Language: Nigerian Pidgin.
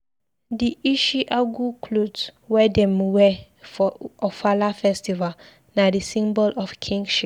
Di ishi agu clot wey dem wear for Ofala festval na di symbol of kingship.